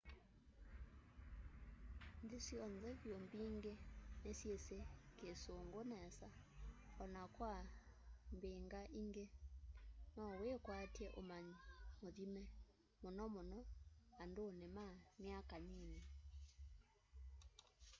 nthi syonthe vyu mbingi ni syisi kisungu nesa na o na kwa mbingaingi no wikwaty'e umanyi muthime muno muno anduni ma myaka nini